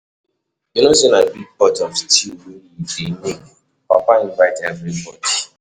You no say na big pot of stew we dey make, papa invite everybody.